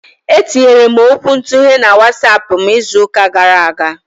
E tinyere m okwuntughe na WatsAapụ m izụka gara aga.